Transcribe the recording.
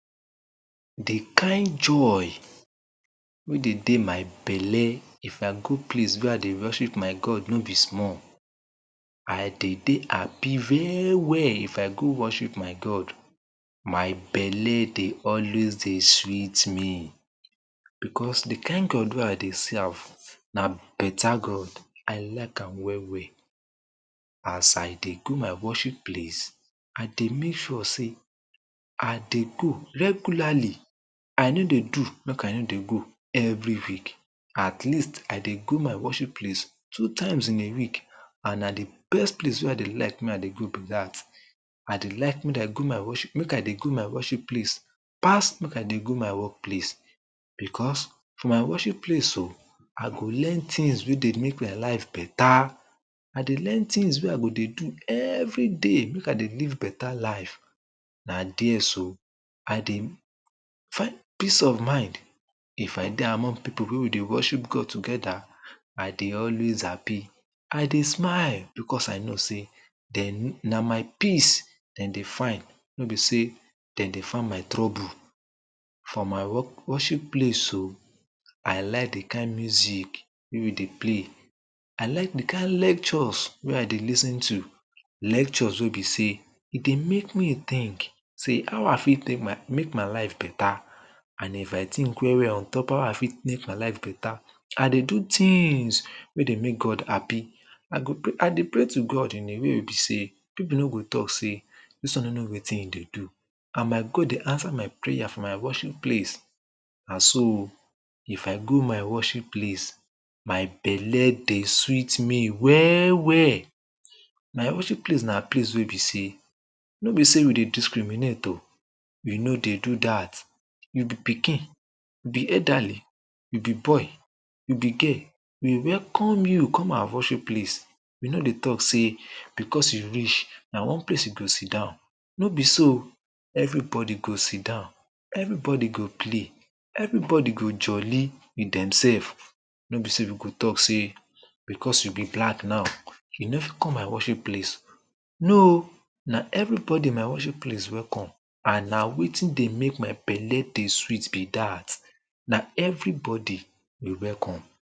De kind joy wey dey dey my belle na good place wey I dey worship my God, no be small I dey dey happy well well if I go worship my God my belle dey sweet me because de kind God wey I dey serve na beta God, I like am well well As I dey go my worship place, I dey make sure sey I dey go regularly I no dey do make I no dey go every week at least, I dey go my worship place two times in a week and na de best place wey I dey like dey go be dat I dey like make I dey go my worship place pass make I dey go my work place. because my worship place so I go learn tins wey dey make my life beta I dey learn tins wey I go dey everyday make I live beta life and dey so I dey find peace of mind if I dey among people wey we dey worship God togeda I dey always happy I dey smile because I know sey na my peace dem dey find no be sey dem dey find my trouble from my worship place so I like dey kind music wey dey place I like dey kind lectures wey I dey lis ten to lectures wey be sey e dey make me tink how I fit take dey make my life beta and if I tink well well on top how I fit make my life beta, I dey do tins wey dey make God happy I dey pray to God in a way wey be sey people no go talk sey dis one no know wetin him dey do and my God dey answer my prayer for my worship place and so If I go my worship place my belle dey sweet me well well my worship place na place wey be sey no be sey we dey discriminate - o we no dey do dat we be pikin be elderly be boy be girl we welcome you come our worship place we no dey talk sey because you rich, na one place you go siddown no be so - o everybody go siddown everybody go play everybody go jolly wit demselves no be sey we go talk sey because you be black now, you no fit come my worship place no - o, na everybody my worship place welcome and na wetin dey make my belle dey sweet be dat na everybody we welcome.